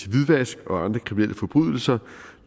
hvidvask og andre kriminelle forbrydelser